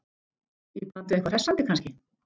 Í bland við eitthvað hressandi kannski?